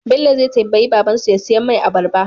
Bello zai tambayi baban su ya siya mai abarba